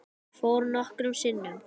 Ég fór nokkrum sinnum.